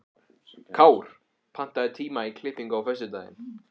Kár, pantaðu tíma í klippingu á föstudaginn.